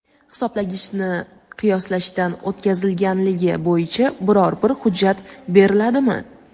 Hisoblagichni qiyoslashdan o‘tkazilganligi bo‘yicha biror bir hujjat beriladimi?.